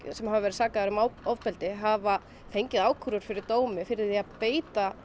sem hafa veir sakaðir um ofbeldi hafa fengið ákúrur fyrir dómi fyrir að beita